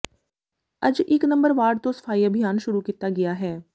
ਅੱਜ ਇਕ number ward ਤੋਂ ਸਫ਼ਾਈ ਅਭਿਆਨ ਸ਼ੁਰੂ ਕੀਤਾ ਗਿਆ ਹੈ